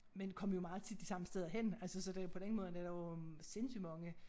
Men kom jo meget tit de samme steder hen altså så det på den måde er der jo øh sindssygt mange